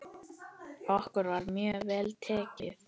Okkur var mjög vel tekið.